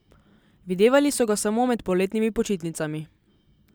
Videvali so ga samo med poletnimi počitnicami.